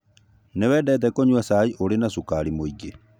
Nĩ wendete kũnyua cai ũrĩ na cukari mũingĩ